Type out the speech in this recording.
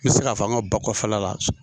N bɛ se ka f'a an ka ba kɔfɛla la